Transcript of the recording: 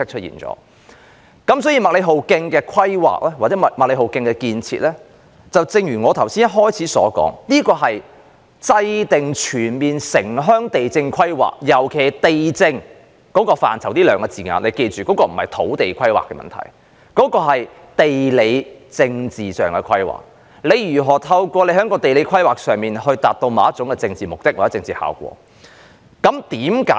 因此，麥理浩徑的規劃及興建，正如我剛才開場發言時所言，是為制訂全面城鄉地政規劃，尤其"地政"一詞的涵義，請大家記住，它所涵蓋的，並非土地規劃問題，而是地理政治規劃問題，即如何透過地理規劃，以達致某種政治目的或效果。